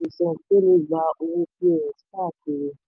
gba owó ní pos káàkiri.